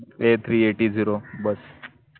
ते three eighty zero bus